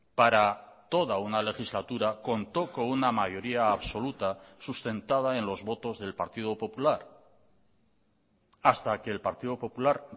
para toda una legislatura contó con una mayoría absoluta sustentada en los votos del partido popular hasta que el partido popular